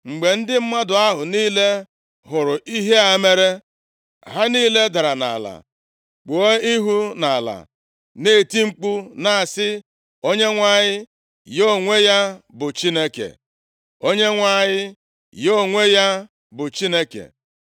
Mgbe ndị mmadụ ahụ niile hụrụ ihe a mere, ha niile dara nʼala kpuo ihu nʼala, na-eti mkpu na-asị, “ Onyenwe anyị, ya onwe ya bụ Chineke! Onyenwe anyị ya onwe ya bụ Chineke!”